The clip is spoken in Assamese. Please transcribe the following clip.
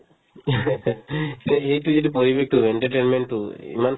সেই ~ সেইটো সেইটো পৰিৱেশতোৰ কাৰণে entertainment তো ইমান